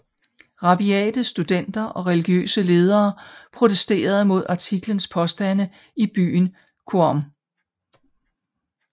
Rabiate studenter og religiøse ledere protesterede mod artiklens påstande i byen Qom